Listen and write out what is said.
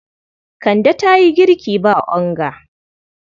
Kande ta yi girki ba onga.